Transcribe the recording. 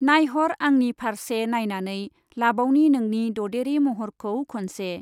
नायहर आंनि फारसे नायनानै लाबावनि नोंनि ददेरे महरखौ खनसे ।